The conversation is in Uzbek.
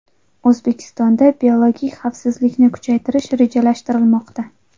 O‘zbekistonda biologik xavfsizlikni kuchaytirish rejalashtirilmoqda.